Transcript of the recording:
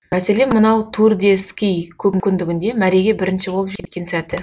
мәселен мынау тур де ски көпкүндігінде мәреге бірінші болып жеткен сәті